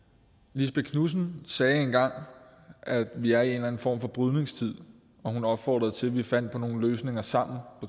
lisbeth knudsen sagde engang at vi er i en eller anden form for brydningstid og hun opfordrede til at vi fandt på nogle løsninger sammen